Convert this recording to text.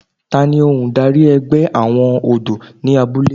Tani ohun darí ẹgbẹ́ àwọn ọ̀dọ́ ní abúlé?